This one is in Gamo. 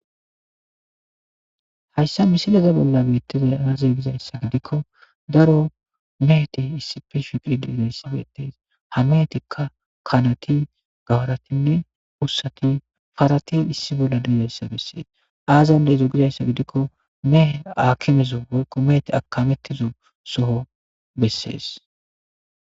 Hayssa misilaza bolla beettizay anazey gizayssa gidikko daro meheti issi fe shiqiri diidayssa beettees ha meetikka kanati gawaratinne wussati farati issi bolla diizayssa bessees aazande izo gizayssa gidikko mehe akimezo wolko meeti akamettizo soho bessees.